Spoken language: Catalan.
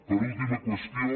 l’última qüestió